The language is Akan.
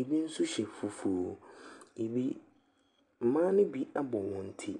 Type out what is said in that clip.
Ɛbi nso hyɛ fufuo. Ɛbi mmaa no ni abɔ wɔn ti.